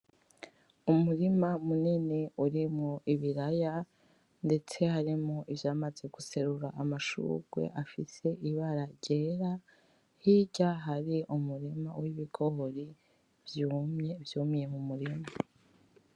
Umurima munini urimwo ibiraya ndetse harimwo ivyamaze guserura amashurwe afise ibara ryera hirya Hari umurima w' ibigori vyumiye mumurima.